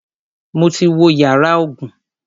Mo ti wo yàrá ogun.